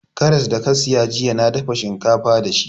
Karras da ka siya jiya na dafa shinkafa da shi